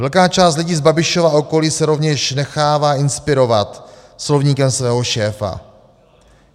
"Velká část lidí z Babišova okolí se rovněž nechává inspirovat slovníkem svého šéfa.